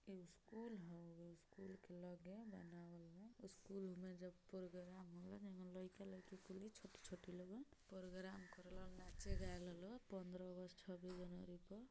इ स्कूल हवे स्कूल की लगे बनावल बा उसकूल में जब पोरगराम होला | जेंगा लइका लईकी लोगन छोटे छोटे पोरगराम करेलन नाचे गाये ला लोग पंद्रह अगस्त छब्बीस जनवरी के |